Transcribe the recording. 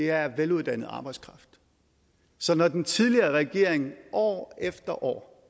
er veluddannet arbejdskraft så når den tidligere regering år efter år